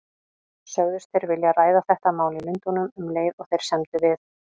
Sögðust þeir vilja ræða þetta mál í Lundúnum, um leið og þeir semdu við